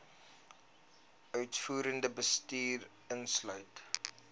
uitvoerende bestuur insluit